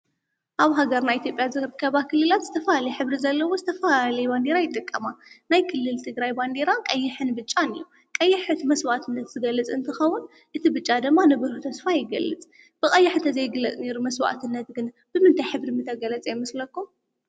ኣብ ሃገር ናይ ኤቲጴያ ዘርከ ባ ክሊላት ዝተፋ ልኅብሪ ዘለዎ ዝተፋ ሌይዋንዲር ኣይጠቀማ ናይ ክልልቲ ግራይባንዲይራን ቀይሕን ብጫን እዩ ቀይሕት መሥዋዕትነት ዝገልጽ እንቲኸዉን እቲ ብጫ ደማ ንብሩ ተስፋ ኣይገልጽ ብቐያሕ እተ ዘይግለጽ ኔይሩ መሥዋዕትነትግን ብምንታይ ኅብሪ ምተገለጸ ይመስለኩ?